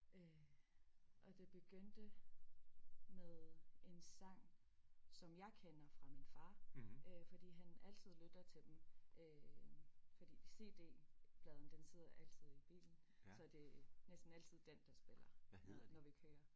Og det begyndte med en sang som jeg kender fra min far øh fordi han altid lytter til dem øh fordi CD pladen den sidder altid i bilen så det er næsten altid den der spiller når vi kører